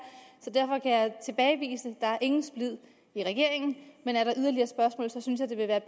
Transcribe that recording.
er ingen splid i regeringen men er der yderligere spørgsmål synes jeg det vil være